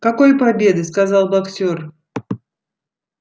какой победы сказал боксёр